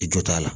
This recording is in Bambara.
I jo t'a la